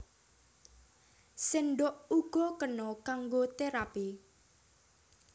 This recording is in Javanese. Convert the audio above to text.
Séndhok uga kena kanggo terapi